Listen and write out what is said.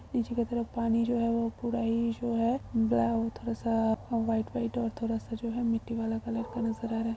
नीचे के तरक पानी जो है वो पूरा ही जो है ब्लै थोड़ा-सा वाइट - वाइट और थोड़ा जो है मिट्टी वाला कलर का नजर आ रहा।